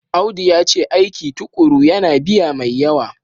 Audu yace aiki tukuru yana biya mai yawa.